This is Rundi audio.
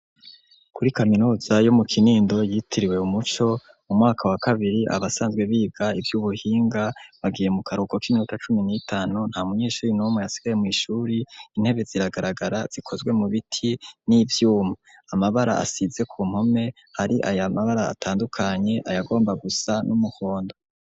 Kuri kaminuza yo mu Kinindo yitiriwe "Umuco", umwaka wa kabiri abasanzwe biga ivy'ubuhinga, bagiye mu karuhuko k'iminota cumi n'itanu. Nta munyeshure n'umwe yasigaye mw'ishure, intebe ziragaragara, zikozwe mu biti n'ivyuma. Amabara asize k'umpome, hari amabara atandukanye, ayagomba gusa n'umuhondo.